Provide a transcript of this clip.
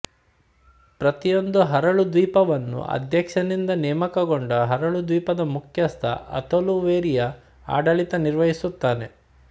ಪ್ರತಿಯೊಂದು ಹರಳು ದ್ವೀಪವನ್ನು ಅಧ್ಯಕ್ಷನಿಂದ ನೇಮಕಗೊಂಡ ಹರಳು ದ್ವೀಪದ ಮುಖ್ಯಸ್ಥ ಅಥೊಲ್ಹು ವೆರಿಯಾ ಆಡಳಿತ ನಿರ್ವಹಿಸುತ್ತಾನೆ